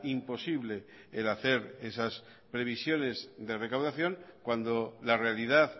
imposible el hacer esas previsiones de recaudación cuando la realidad